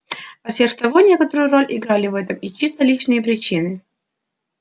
а сверх того некоторую роль играли в этом и чисто личные причины